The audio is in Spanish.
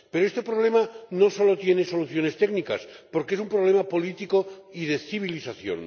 Pero este problema no solo tiene soluciones técnicas, porque es un problema político y de civilización.